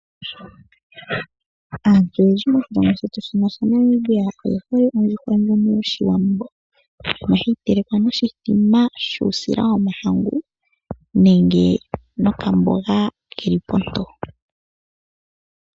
Aantu oyendji mosjilongo shetu shino sha Namibia oye hole ondjuhwa ndjono yoshiwambo. Ohayi telekwa noshithima shuusila womahangu nenge nokamboga keli ponto.